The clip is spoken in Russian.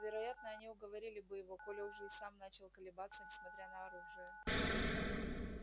вероятно они уговорили бы его коля уже и сам начал колебаться несмотря на оружие